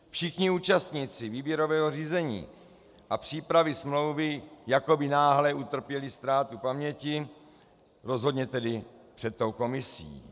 Všichni účastníci výběrového řízení a přípravy smlouvy jako by náhle utrpěli ztrátu paměti, rozhodně tedy před tou komisí.